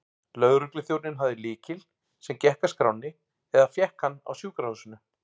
Lögregluþjónninn hafði lykil, sem gekk að skránni, eða fékk hann á sjúkrahúsinu.